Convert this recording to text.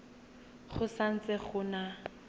go sa ntse go na